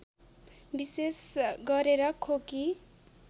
विशेष गरेर खोकी